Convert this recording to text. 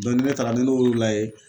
Dɔ ni ne taala ni ne y'o layɛ